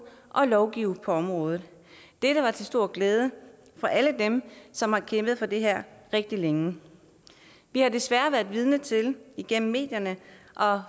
og lovgive på området dette var til stor glæde for alle dem som har kæmpet for det her rigtig længe vi har desværre været vidne til igennem medierne og har